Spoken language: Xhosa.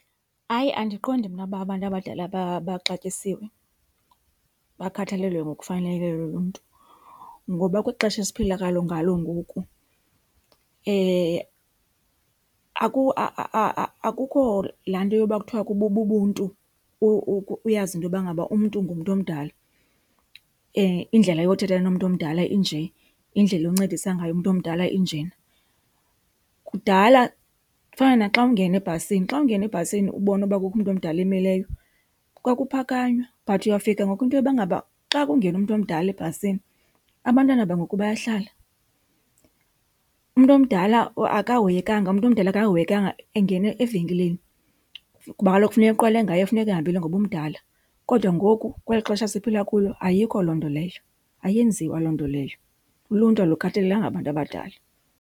Hayi, andiqondi mna uba abantu abadala baxatyisiwe, bakhathalelwe ngokufaneleyo luluntu. Ngoba kwixesha esiphila ngalo ngoku akukho laa nto yoba kuthiwa bubuntu, uyazi intoba ngaba umntu ngumntu omdala, indlela yothetha nomntu omdala inje, indlela oncedisa ngayo umntu omdala injena. Kudala kufana naxa ungena ebhasini, xa ungena ebhasini ubona uba kukho umntu omdala omileyo kwakuphakanywa but uyawufika ngoku intoba ngaba xa kungena umntu omdala ebhasini abantwana bangoku bayahlala. Umntu omdala akahoyekanga, umntu omdala akahoyekanga engena evenkileni, kuba kaloku funeka eqalwe ngaye kufuneka ehambile ngoba umdala, kodwa ngoku kweli xesha siphila kulo ayikho loo nto leyo, ayenziwa loo nto leyo. Uluntu alukhathalelanga abantu abadala.